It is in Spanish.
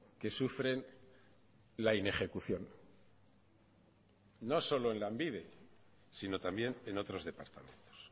que sufren la inejecución no solo en lanbide sino también en otros departamentos